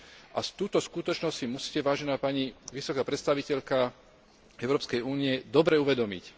a túto skutočnosť si musíte, vážená pani vysoká predstaviteľka Európskej únie, dobre uvedomiť.